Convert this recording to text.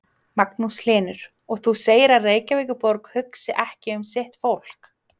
Magnús Hlynur: Og þú segir að Reykjavíkurborg hugsi ekki um sitt fólk?